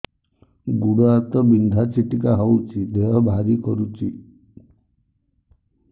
ଗୁଡ଼ ହାତ ବିନ୍ଧା ଛିଟିକା ହଉଚି ଦେହ ଭାରି କରୁଚି